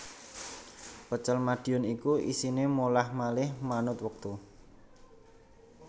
Pecel Madiun iku isine molah malih manut wektu